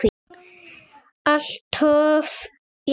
Alltof lítinn.